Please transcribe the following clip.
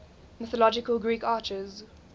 mythological greek archers